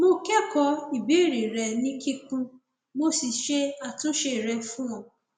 mo kẹkọọ ìbéèrè rẹ ní kíkún mo sì ṣe àtúnṣe rẹ fún ọ